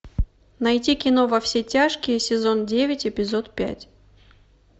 найти кино во все тяжкие сезон девять эпизод пять